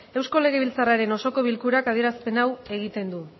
eusko legebiltzarraren osoko bilkurak adierazpen hau egiten du